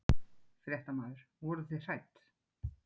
Fréttamaður: Voruð þið hrædd?